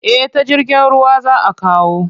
Eh ta jirgin ruwa za a kawo.